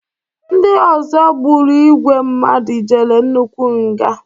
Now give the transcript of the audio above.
ndị ọzọ gburu igwe mmadụ jere nnukwu nga